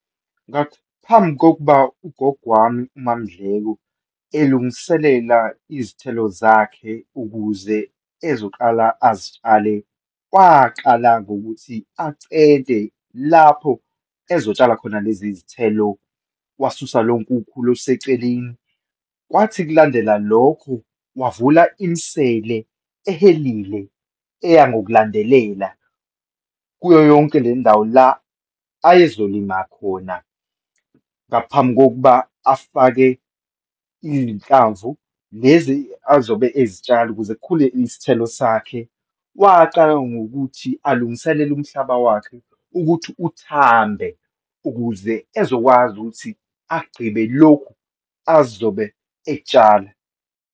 Ngaphambi kokuba uGogo wami uMaMndleko elungiselela izithelo zakhe ukuze ezoqala azitshale, waqala ngokuthi acente lapho ezotshala khona lezi zithelo, wasusa lonke ukhula oluseseceleni. Kwathi kulandela lokho, wavula imisele ehelile, eya ngokulandelela kuyo yonke le ndawo la ayezolima khona, ngaphambi kokuba afake iyinhlamvu, lezi azobe ezitshala ukuze kukhule isithelo sakhe. Waqala ngokuthi alungiselele umhlaba wakhe ukuthi uthambe ukuze ezokwazi ukuthi agqibe lokhu azobe ekuthsala.